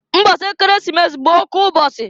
Mbọsị Ekeresimesi bụ oke ụbọsị.